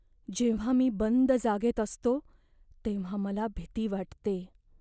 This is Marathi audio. जेव्हा मी बंद जागेत असतो तेव्हा मला भीती वाटते.